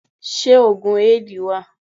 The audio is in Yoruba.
Ṣé òògùn Éèdì wà?